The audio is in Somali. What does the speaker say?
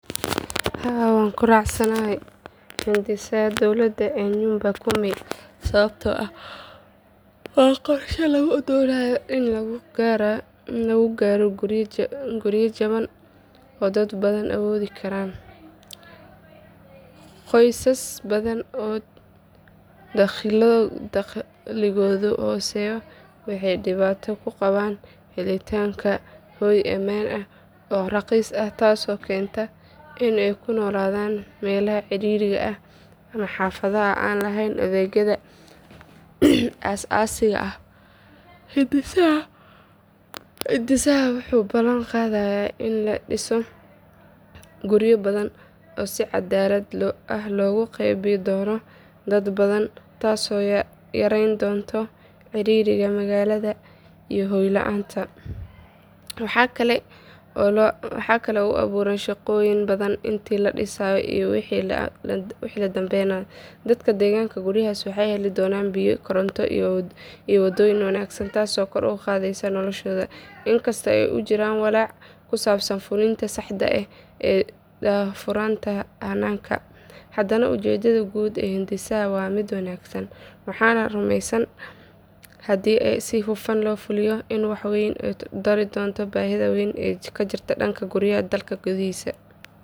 Haa waxaan ku raacsanahay hindisaha dowladda ee nyumba kumi sababtoo ah waa qorshe lagu doonayo in lagu gaaro guryo jaban oo dad badan awoodi karaan. Qoysas badan oo dakhligoodu hooseeyo waxay dhibaato ku qabaan helitaanka hoy ammaan ah oo raqiis ah taasoo keenta in ay ku noolaadaan meelaha ciriiriga ah ama xaafadaha aan lahayn adeegyada aas aasiga ah. Hindisahan wuxuu ballan qaadayaa in la dhiso guryo badan oo si cadaalad ah loogu qeybin doono dad badan taasoo yarayn doonta ciriiriga magaalada iyo hoy la’aanta. Waxa kale oo uu abuurayaa shaqooyin badan intii la dhisayo iyo wixii ka dambeeya. Dadka deggan guryahaas waxay heli doonaan biyo, koronto, iyo wadooyin wanaagsan taasoo kor u qaadaysa noloshooda. In kasta oo uu jiro walaac ku saabsan fulinta saxda ah iyo daahfurnaanta hannaanka, haddana ujeeddada guud ee hindisaha waa mid wanaagsan. Waxaan rumeysanahay haddii si hufan loo fuliyo in uu wax weyn ka tari doono baahida weyn ee jirta ee dhanka guryaha dalka gudihiisa.